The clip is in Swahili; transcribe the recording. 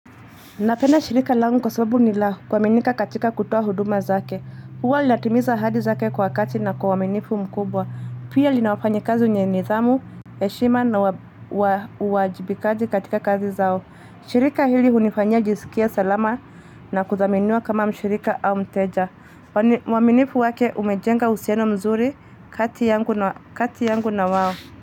Napenda shirika langu kwa sababu ni la kuaminika katika kutoa huduma zake. Huwa linatimiza ahadi zake kwa wakati na kwa uaminifu mkubwa. Pia lina wafanyakazi wenye nidhamu, heshima na uwajibikaji katika kazi zao. Shirika hili hunifanya jisikia salama na kudhaminiwa kama mshirika au mteja. Uaminifu wake umejenga uhusiano mzuri kati yangu na wao.